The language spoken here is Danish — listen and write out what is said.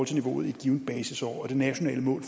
til niveauet i et givent basisår det nationale mål